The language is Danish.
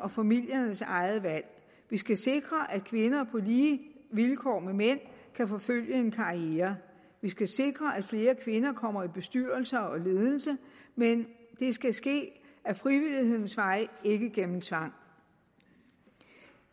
og familiernes eget valg vi skal sikre at kvinder på lige vilkår med mænd kan forfølge en karriere vi skal sikre at flere kvinder kommer i bestyrelser og ledelser men det skal ske ad frivillighedens vej ikke gennem tvang